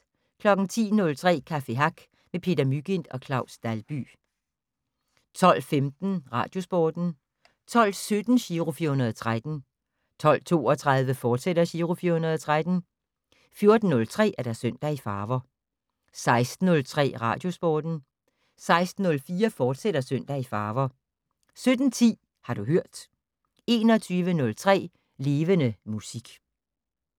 10:03: Café Hack med Peter Mygind og Claus Dalby 12:15: Radiosporten 12:17: Giro 413 12:32: Giro 413, fortsat 14:03: Søndag i farver 16:03: Radiosporten 16:04: Søndag i farver, fortsat 17:10: Har du hørt 21:03: Levende Musik